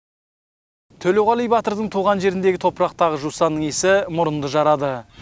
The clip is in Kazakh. төлеуғали батырдың туған жеріндегі топырақтағы жусанның иісі мұрынды жарады